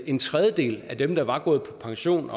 en tredjedel af dem der var gået på pension